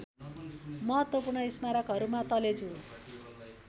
महत्त्वपूर्ण स्मारकहरुमा तलेजु